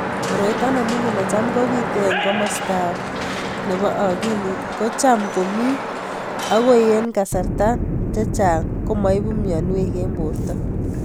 Koroito nemining necham kopite ing masta nepo akilit ko cham komii ako ing kasarta chechang ko maipu mionwek ing porto.